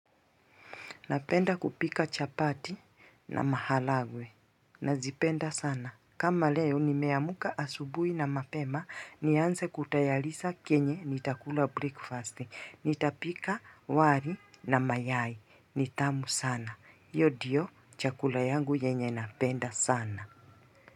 Napenda kupika chapati na mahalagwe. Nazipenda sana. Kama leo ni meamuka asubui na mapema. Nianse kutayalisa kenye nitakula breakfast. Nitapika wari na mayai. Nitamu sana. Yodio chakula yangu yenye napenda sana.